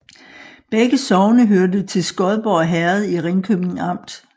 Begge sogne hørte til Skodborg Herred i Ringkøbing Amt